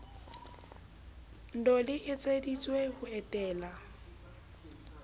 ndoh le etseditswe ho etella